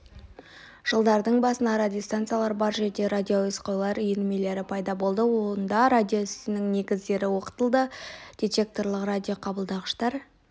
жылдардың басында радиостанциялар бар жерде радиоәуесқойлар үйірмелері пайда болды онда радио ісінің негіздері оқытылды детекторлық радиоқабылдағыштар